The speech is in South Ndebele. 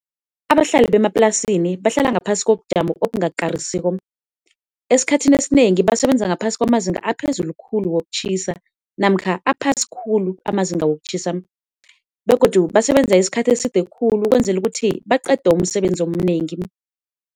Abahlali bemaplasini bahlala ngaphasi kobujamo obungakarisiko, esikhathini esinengi basebenza ngaphasi kwamazinga aphezulu khulu wokutjhisa namkha aphasi khulu amazinga wokutjhisa. Begodu basebenza isikhathi eside khulu ukwenzela ukuthi baqede umsebenzi omnengi.